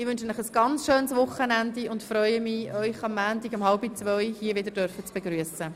Ich wünsche Ihnen ein schönes Wochenende und freue mich, Sie am Montag um 13.30 Uhr wieder begrüssen zu dürfen.